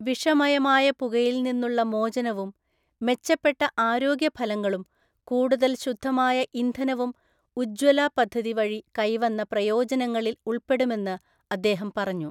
വിഷമയമായ പുകയില്‍ നിന്നുള്ളമോചനവും, മെച്ചപ്പെട്ട ആരോഗ്യഫലങ്ങളും, കൂടുതല്‍ ശുദ്ധമായ ഇന്ധനവും ഉജ്ജ്വല പദ്ധതി വഴികൈവന്ന പ്രയോജനങ്ങളില്‍ ഉള്‍പ്പെടുമെന്ന് അദ്ദേഹം പറഞ്ഞു..